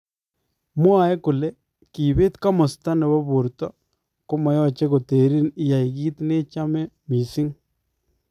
Mwae kole kibeet komasta nebo borto komayache koteriin iyaii kiit nechame missing